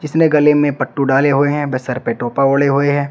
इसने गले में पट्टू डाले हुए हैं वे सर पर टोपा ओढे हुए है।